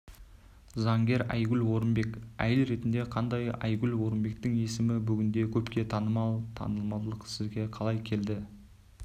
заңгер айгүл орынбек әйел ретінде қандай айгүл орынбектің есімі бүгінде көпке танымал танымалдық сізге қалай келді